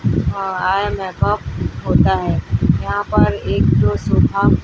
हां एक मेकअप होता है यहां पर एक जो सूखा--